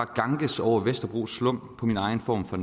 ganges over vesterbros slumpå min egen form for